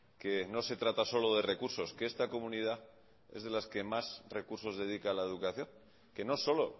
que no se trata solo de recursos que esta comunidad es la que más recursos dedica a la educación que no solo